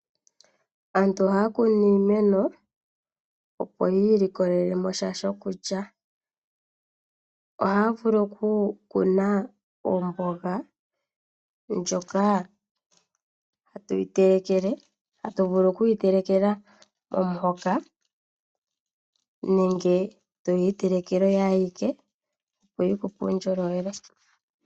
Aantu ohaya kunu iimeno opo yi ilikolele mo sha shokulya. Ohaua vulu okukuna omboga ndjoka hatu vulu okuyitelekelwa momuhoka nenge toyi itelekele oyo ayike opo yikupe uundjolowele.